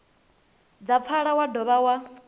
dza pfala wa dovha wa